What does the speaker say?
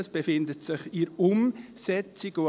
Es befindet sich in der Umsetzung.